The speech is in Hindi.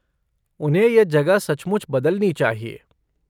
उन्हें यह जगह सचमुच बदलनी चाहिए।